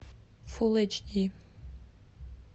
фул эйч ди